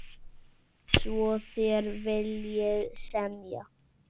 Svo þér viljið semja?